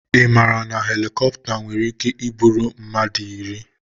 Ị maara na helikopta nwere ike iburu mmadụ iri?